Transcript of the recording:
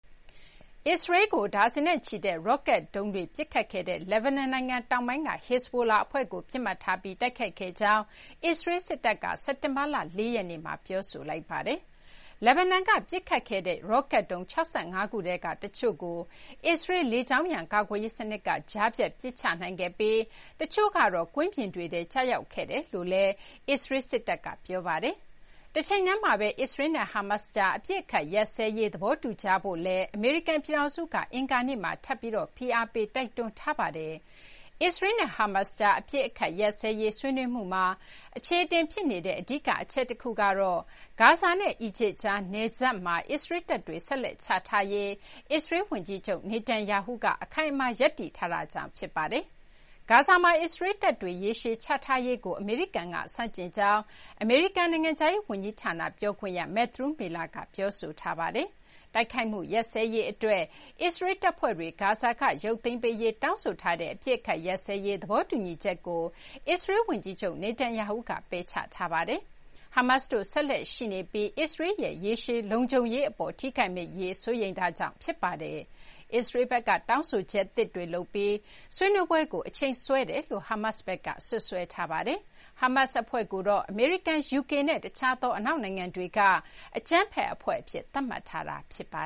အစ္စရေးကို ဒါဇင်နဲ့ချီတဲ့ ရော့ကတ်ဒုံးတွေ ပစ်ခတ်ခဲ့တဲ့ လက်ဘနွန်နိုင်ငံတောင်ပိုင်းက Hezbollah အဖွဲ့ကို ပစ်မှတ်ထားပြီး တိုက်ခိုက်ခဲ့ကြောင်း အစ္စရေး စစ်တပ်က စက်တင်ဘာ ၄ ရက်နေ့မှာ ပြောလိုက်ပါတယ်။ လက်ဘနွန်ဘက်ကပစ်ခတ်ခဲ့တဲ့ ရော့ကတ်ဒုံး ၆၅ ခုထဲက တချို့ကို အစ္စရေး လေကြောင်းရန်ကာကွယ်ရေးစနစ်ကကြားဖြတ် ပစ်ချနိုင်ခဲ့ပြီး တချို့ကတော့ ကွင်းပြင်တွေထဲ ကျရောက်ခဲ့တယ်လို့လည်း အစ္စရေးစစ်တပ်က ပြောပါတယ်။တချိန်တည်းမှာပဲ အစ္စရေးလ်နဲ့ ဟာမတ်ကြား အပစ်အခတ်ရပ်စဲရေးသဘောတူကြဖို့လည်း အမေရိကန်ပြည်ထောင်စုက အင်္ဂါနေ့မှာ ထပ်ပြီး ဖိအားပေးတိုက်တွန်းထားပါတယ်။ အစ္စရေးလ်နဲ့ ဟာမတ်ကြား အပစ်အခတ်ရပ်စဲရေး ဆွေးနွေးမှုမှာ အခြေအတင်ဖြစ်နေတဲ့ အဓိက ချက်တခုကတော့ ဂါဇာနဲ့အီဂျစ်ကြား နယ်စပ်မှာ အစ္စရေးလ်တပ်တွေ ဆက်လက်ချထားရေး အစ္စရေးလ်ဝန်ကြီးချုပ် Netanyahu ကအခိုင်အမာရပ်တည်ထားတာကြောင့် ဖြစ်ပါတယ်။ ဂါဇာမှာ အစ္စရေးလ်တပ်တွေ ရေရှည်ချထားရေးကို အမေရိကန်ကဆန့်ကျင်ကြောင်း အမေရိကန် နိုင်ငံခြားရေးဝန်ကြီးဌာနပြောခွင့်ရ Matthew Miller က ပြောဆိုထားပါတယ်။ တိုက်ခိုက်မှုရပ်စဲရေးအတွက် အစ္စရေးလ်တပ်ဖွဲ့တွေဂါဇာကရုပ်သိမ်းပေးရေးတောင်းဆိုထားတဲ့ အပစ်အခတ် ရပ်စဲရေး သဘောတူညီချက်ကို အစ္စရေးလ်ဝန်ကြီးချုပ်Netanyahu က ပယ်ချထားပါတယ်။ ဟာမတ်တို့ ဆက်လက်ရှိနေပြီး အစ္စရေးလ်ရဲ့ ရေရှည်လုံခြုံရေးအပေါ် ထိခိုက်မယ့်အရေး စိုးရိမ်ချက်ကြောင့် ဖြစ်ပါတယ်။ အစ္စရေးလ်ဘက်က တောင်းဆိုချက်သစ်တွေလုပ်ပြီး ဆွေးနွေးပွဲကိုအချိန်ဆွဲနေတယ်လို့ ဟာမတ်စ်ဘက်က စွပ်စွဲထားပါတယ်။ ဟာမတ်အဖွဲ့ကိုတော့ အမေရိကန်၊ ယူကေနဲ့ တခြားသောအနောက်နိုင်ငံတွေက အကြမ်းဖက်အဖွဲ့အဖြစ် သတ်မှတ်ထားတာပါ